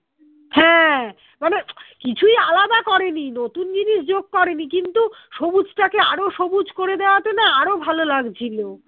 হ্যাঁ মানে কিছুই আলাদা করেনি নতুন জিনিস যোগ করেনি কিন্তু সবুজটাকে আরো সবুজ করে দেওয়াতে না আরো ভালো লাগছিলো